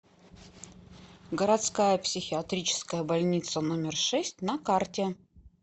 городская психиатрическая больница номер шесть на карте